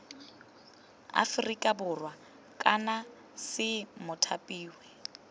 aferika borwa kana c mothapiwa